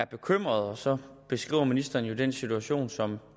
bekymret og så beskriver ministeren jo den situation som